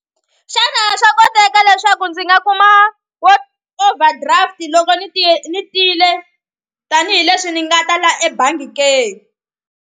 Xana swa koteka leswaku ndzi nga kuma wa overdraft loko ni ti ni tile tanihileswi ni nga ta la ebangi ke.